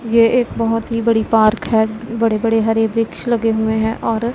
ये एक बहुत ही बड़ी पार्क है बड़े बड़े हरे वृक्ष लगे हुए हैं और--